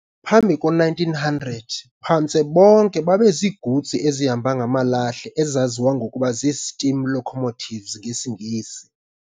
Phambi ko-1900, phantse bonke babeziigutsi ezihamba ngamalahle ezaziwa ngokuba zii-steam locomotives ngesiNgesi.